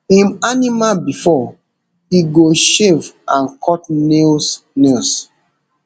im animal bifor e go shave and cut nails nails